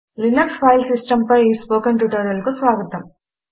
Linux file Systemలినక్సు file system పై ఈ స్పోకెన్ ట్యుటోరియల్ కు స్వాగతం